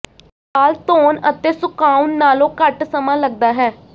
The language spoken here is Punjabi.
ਵਾਲ ਧੋਣ ਅਤੇ ਸੁਕਾਉਣ ਨਾਲੋਂ ਘੱਟ ਸਮਾਂ ਲੱਗਦਾ ਹੈ